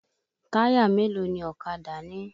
Táyà mélòó ni ọ̀kadà ní?